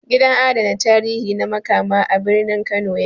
Gidan adana tarihi na Makama, a birnin Kano ya ke